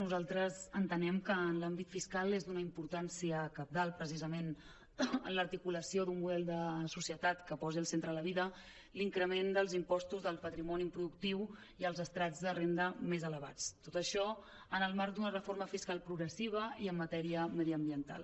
nosaltres entenem que en l’àmbit fiscal és d’una importància cab·dal precisament en l’articulació d’un model de societat que posi al centre la vida l’increment dels impostos del patrimoni improductiu i als estrats de renda més ele·vats tot això en el marc d’una reforma fiscal progressiva i en matèria mediambiental